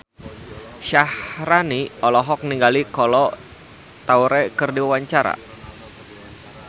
Syaharani olohok ningali Kolo Taure keur diwawancara